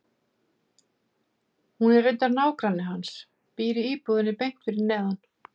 Hún er reyndar nágranni hans, býr í íbúðinni beint fyrir neðan.